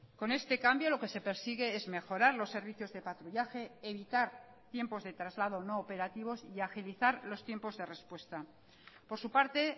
con este cambio lo que se persigue es mejorar los servicios de patrullaje evitar tiempos de traslado no operativos y agilizar los tiempos de respuesta por su parte